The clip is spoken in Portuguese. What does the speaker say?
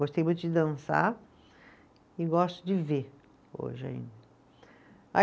Gostei muito de dançar e gosto de ver hoje ainda.